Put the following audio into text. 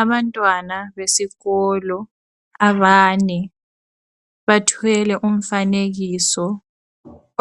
Abantwana besikolo abane bathwele umfanekiso